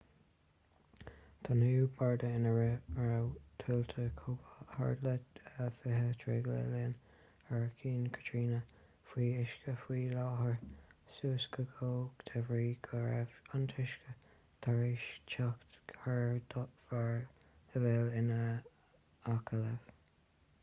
tá an naoú barda ina raibh tuilte chomh hard le 20 troigh le linn hairicín katrina faoi uisce faoi láthair suas go coim de bhrí go raibh an t-uisce tar éis teacht thar bharr leibhé in aice láimhe